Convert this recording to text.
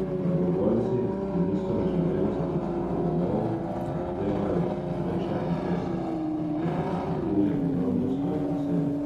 Prebivalci, ki niso želeli zapustiti domov, zahtevajo vreče in pesek, da bi utrdili obrambo svojih naselij.